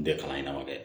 N tɛ kalan ɲɛnabɔ dɛ